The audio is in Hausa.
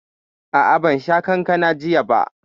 A'a, ban sha kankanan jiya ba